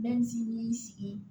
Bɛ sigi